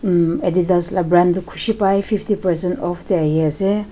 emm adidas laa brand toh kushi pai fifty percent off dae aahi asae.